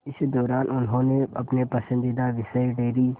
इस दौरान उन्होंने अपने पसंदीदा विषय डेयरी